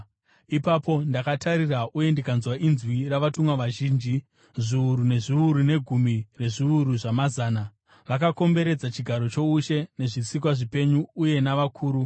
Ipapo ndakatarira uye ndikanzwa inzwi ravatumwa vazhinji, zviuru nezviuru negumi rezviuru zvamazana. Vakakomberedza chigaro choushe nezvisikwa zvipenyu uye navakuru.